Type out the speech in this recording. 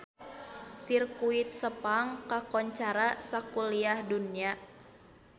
Sirkuit Sepang kakoncara sakuliah dunya